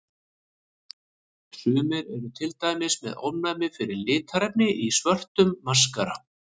Sumir eru til dæmis með ofnæmi fyrir litarefni í svörtum maskara.